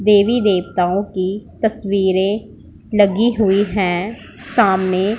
देवी देवताओं की तस्वीरें लगी हुई है सामने --